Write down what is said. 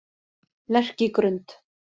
Lerkigrund